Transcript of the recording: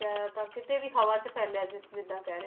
ਆਇਆ ਤਾਂ ਕਿਤੇ ਵੀ ਹਵਾ 'ਚ ਫੈਲਿਆ ਜਿ~ ਜਿੱਦਾਂ ਕਹਿ ਰਹੇ,